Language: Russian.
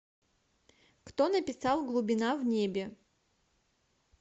кто написал глубина в небе